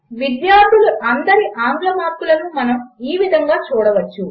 విద్యార్థులు అందరి ఆంగ్ల మార్కులను మనము ఈ విధముగా చూడవచ్చు